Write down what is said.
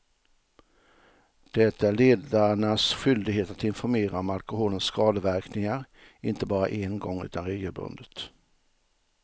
Det är ledarnas skyldighet att informera om alkoholens skadeverkningar, inte bara en gång utan regelbundet.